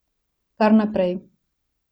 Kar naprej.